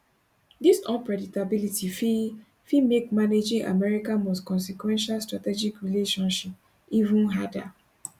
dis unpredictability fit fit make managing america most consequential strategic relationship even harder